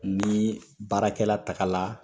Ni baarakɛla takala